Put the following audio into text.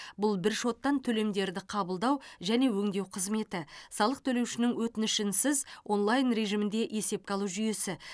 бұл бір шоттан төлемдерді қабылдау және өңдеу қызметі салық төлеушінің өтінішінсіз онлайн режимінде есепке алу жүйесі